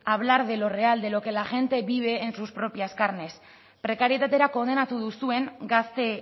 hablar de lo real de lo que la gente vive en sus propias carnes prekarietatera kondenatu duzuen gazte